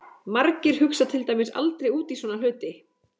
Margir hugsa til dæmis aldrei út í svona hluti!